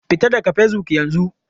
Fita daga Facebook yanzu!